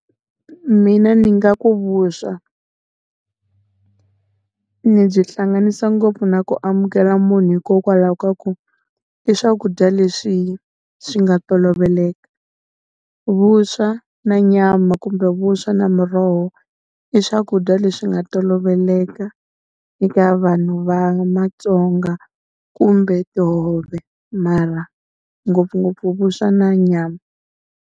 Mina ni nga ku vuswa, ni byi hlanganisa ngopfu na ku amukela munhu hikokwalaho ka ku i swakudya leswi swi nga toloveleka. Vuswa na nyama kumbe vuswa na miroho i swakudya leswi nga toloveleka eka vanhu va Matsonga, kumbe tihove mara ngopfungopfu vuswa na nyama.